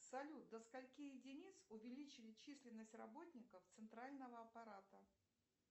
салют до скольки единиц увеличили численность работников центрального аппарата